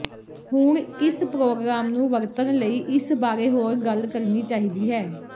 ਹੁਣ ਕਿਸ ਪ੍ਰੋਗਰਾਮ ਨੂੰ ਵਰਤਣ ਲਈ ਇਸ ਬਾਰੇ ਹੋਰ ਗੱਲ ਕਰਨੀ ਚਾਹੀਦੀ ਹੈ